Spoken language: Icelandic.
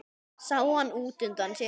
Sá hann útundan sér.